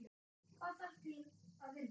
Hvað þarf til að vinna?